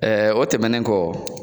o tɛmɛnen kɔ